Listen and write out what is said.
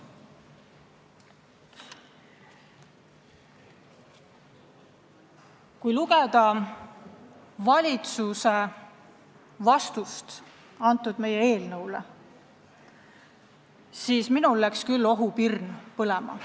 Kui lugeda valitsuse arvamust meie eelnõu kohta, siis minul läks küll ohupirn põlema.